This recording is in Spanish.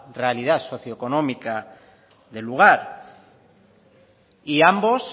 realidad socioeconómica del lugar y ambos